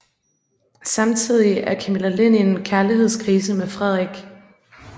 Samtidige er Camilla Lind i en kærligheds krise med Frederik